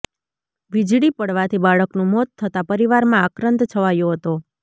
વીજળી પડવાથી બાળકનું મોત થતાં પરિવારમાં આક્રંદ છવાયો હતો